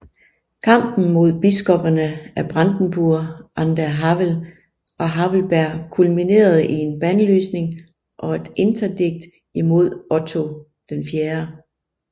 Kampen mod biskopperne af Brandenburg an der Havel og Havelberg kulminerede i en bandlysning og et interdikt imod Otto IV